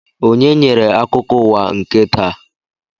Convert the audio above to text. Onye nyere akụkọ ụwa nke taa?